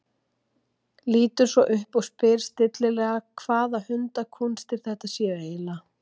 Lítur svo upp og spyr stillilega hvaða hundakúnstir þetta séu eiginlega.